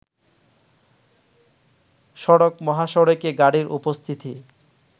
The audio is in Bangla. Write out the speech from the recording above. সড়ক-মহাসড়কে গাড়ির উপস্থিতি